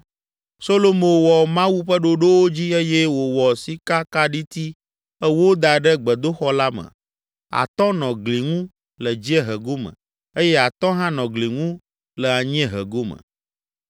Solomo wɔ Mawu ƒe ɖoɖowo dzi eye wòwɔ sikakaɖiti ewo da ɖe gbedoxɔ la me, atɔ̃ nɔ gli ŋu le dziehe gome eye atɔ̃ hã nɔ gli ŋu le anyiehe gome.